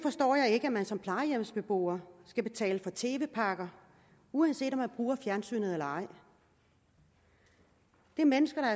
ikke at man som plejehjemsbeboer skal betale for tv pakker uanset om man bruger fjernsynet eller ej der er mennesker